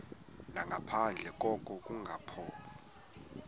nangaphandle koko kungaqondani